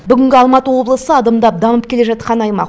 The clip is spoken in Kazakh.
бүгінгі алматы облысы адымдап дамып келе жатқан аймақ